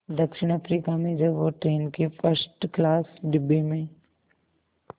दक्षिण अफ्रीका में जब वो ट्रेन के फर्स्ट क्लास डिब्बे में